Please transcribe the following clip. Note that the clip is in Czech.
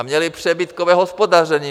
A měly přebytkové hospodaření.